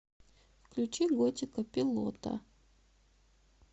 включи готика пилота